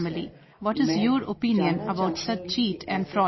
What is your opinion about such cheat and fraud emails